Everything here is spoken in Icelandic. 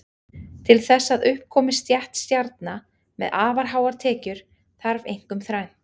Til þess að upp komi stétt stjarna með afar háar tekjur þarf einkum þrennt.